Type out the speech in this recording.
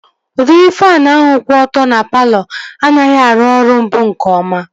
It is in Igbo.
Udịri faanụ ahụ kwụ ọtọ dị na palọ m anaghị arụ ọrụ mbụ nke ọma